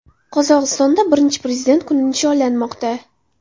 Qozog‘istonda Birinchi prezident kuni nishonlanmoqda.